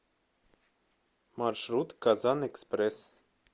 маршрут казанэкспресс